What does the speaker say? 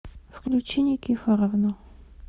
включи никифоровну